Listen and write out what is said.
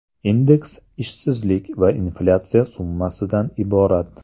Indeks ishsizlik va inflyatsiya summasidan iborat.